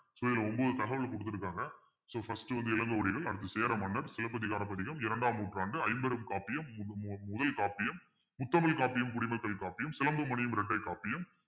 so இதுல ஒவ்வொரு தகவல் கொடுத்திருக்காங்க so first வந்து இளங்கோவடிகள் அடுத்து சேர மன்னர் சிலப்பதிகார பதிகம் இரண்டாம் நூற்றாண்டு ஐம்பெரும் காப்பியம் மு~ மு~ முதல் காப்பியம் முத்தமிழ் காப்பியம் குடிமக்கள் காப்பியம் சிலம்பு மணியும் இரட்டை காப்பியம்